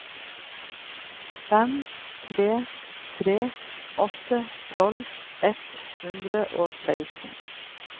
fem tre tre åtte tolv ett hundre og seksten